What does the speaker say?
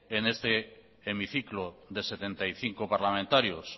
en este hemiciclo de setenta y cinco parlamentarios